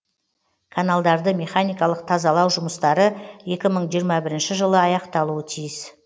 каналдарды механикалық тазалау жұмыстары екі мың жиырма бірінші жылы аяқталуы тиіс